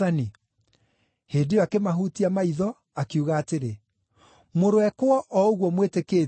Hĩndĩ ĩyo akĩmahutia maitho, akiuga atĩrĩ, “Mũroĩkwo o ũguo mwĩtĩkĩtie;”